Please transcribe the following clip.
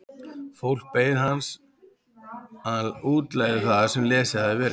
Fólkið beið þess að hann útlegði það sem lesið hafði verið.